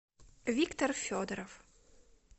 виктор федоров